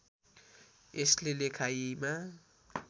यसले लेखाइमा